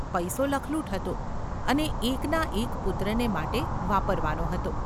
પૈસો લખલૂટ હતો અને એકના એક પુત્રને માટે વાપરવાનો હતો.